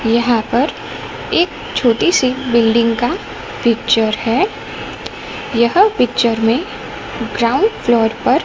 यहां पर एक छोटी सी बिल्डिंग का पिक्चर है यह पिक्चर में ग्राउंड फ्लोर पर--